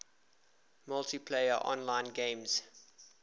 multiplayer online games